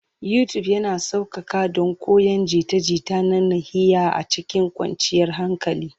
YouTube yana sauƙaƙa don koyon jita-jita na nahiya a cikin kwanciyar hankali.